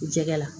Jɛgɛ la